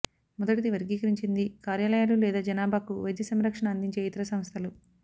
మొదటి వర్గీకరించింది కార్యాలయాలు లేదా జనాభాకు వైద్య సంరక్షణ అందించే ఇతర సంస్థలు